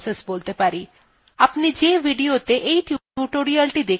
আপনি the videoত়ে এই tutorial দেখছেন সেটিও একটি process